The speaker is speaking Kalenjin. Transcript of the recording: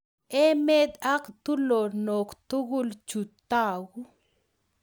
Emet ak tulonok tugul chu taku